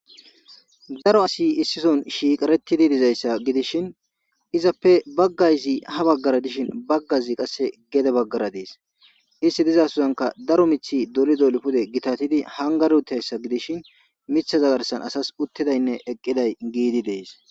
daro asi issison shiiqaretidi dizayssa gidishin izappe baggayzi ha baggara dishin baggayzi qasse gede baggara dees isti dizasosanka daro mithi dolido lipude gitatidi hangar utayssa gidishin mitha zagarsan asas uttidaynne eqqiday giidi dees